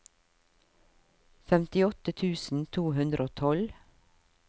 femtiåtte tusen to hundre og tolv